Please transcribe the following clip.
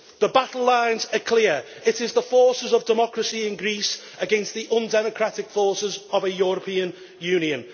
The battle lines are clear. It is the forces of democracy in Greece against the undemocratic forces of a European Union.